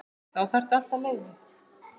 Þá þarftu alltaf leyfi.